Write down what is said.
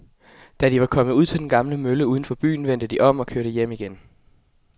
Da de var kommet ud til den gamle mølle uden for byen, vendte de om og kørte hjem igen.